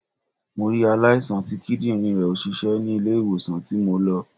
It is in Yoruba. Mo rí aláìsàn tí Kídìrín rẹ̀ ò ṣiṣẹ́ ni ilé ìwòsàn tí mo lọ